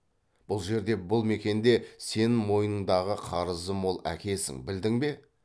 бұл жерде бұл мекенде сен мойныңдағы қарызы мол әкесің білдің бе